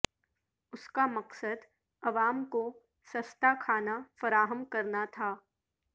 اس کا مقصد عوام کو سستا کھانا فراہم کرنا تھا